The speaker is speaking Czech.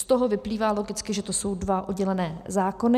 Z toho vyplývá logicky, že to jsou dva oddělené zákony.